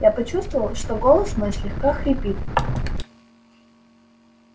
я почувствовал что голос мой слегка хрипит